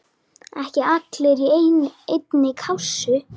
Ekki allir í einni kássu!